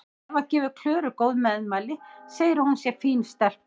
Eva gefur Klöru góð meðmæli, segir að hún sé fín stelpa.